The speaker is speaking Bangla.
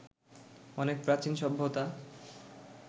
অনেক প্রাচীন সভ্যতা